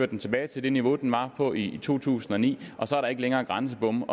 den tilbage til det niveau den var på i to tusind og ni så er der ikke længere grænsebomme